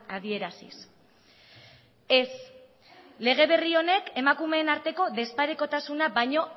adieraziz ez lege berri honek emakumeen arteko desparekotasuna baino